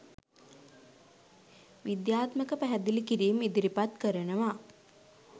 විද්‍යාත්මක පැහැදිළි කිරිම් ඉදිරිපත් කරනව.